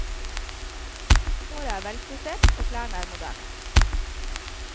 Håret er velfrisert, klærne moderne.